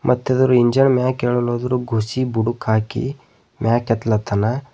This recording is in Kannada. ಮತ್ತಿದರ ಇಂಜಿನ್ ಮ್ಯಕೇಳುವ ಅದರ ಗುರ್ಚಿ ಬುಡಕ್ ಹಾಕಿ ಮ್ಯಾಕ್ ಎತ್ಲತ್ತಾನ.